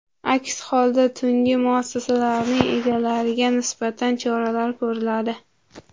Aks holda tungi muassasalarning egalariga nisbatan choralar ko‘riladi.